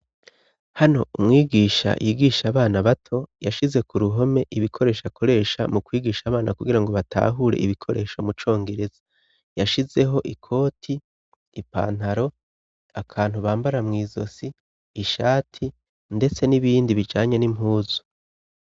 Hano umwigisha yigisha abana bato, yashize ku ruhome ibikoresh' akoresha mu kwigisha abana kugira ngo batahure ibikoresho mu congereza ,yashizeho ikoti, ipantaro ,akantu bambara mw' izosi ,ishati ndetse n'ibindi bijanye n'impuzu.